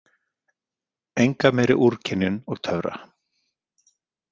Enga meiri úrkynjun og töfra.